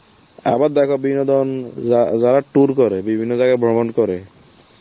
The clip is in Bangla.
আবার দেখো বিনোদন যা~ যারা tour করে, বিভিন্ন জায়গায় ভ্রমণ করে